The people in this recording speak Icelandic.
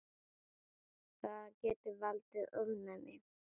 Það getur valdið ofnæmi.